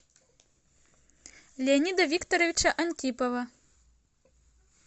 леонида викторовича антипова